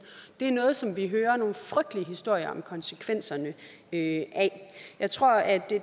det er noget som vi hører nogle frygtelige historier om konsekvenserne af jeg tror at det